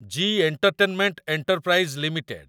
G entertainment enterprise limited